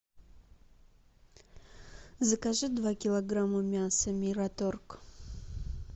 закажи два килограмма мяса мираторг